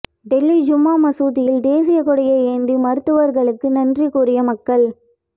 டெல்லி ஜும்மா மசூதியில் தேசிய கொடியை ஏந்தி மருத்துவர்களுக்கு நன்றி கூறிய மக்கள்